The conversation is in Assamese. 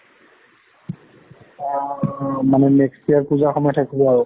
অ ~মানে next year পূজা সময়ত শেষ হব আৰু?